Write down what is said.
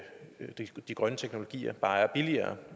de grønne teknologier bare er billigere